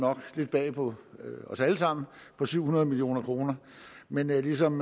lidt bag på os alle sammen på syv hundrede million kroner men ligesom